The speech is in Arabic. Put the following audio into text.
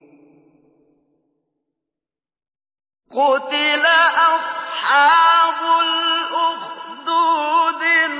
قُتِلَ أَصْحَابُ الْأُخْدُودِ